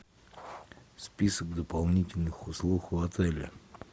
список дополнительных услуг в отеле